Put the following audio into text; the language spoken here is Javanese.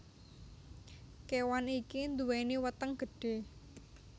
Kewan iki nduweni weteng gedhe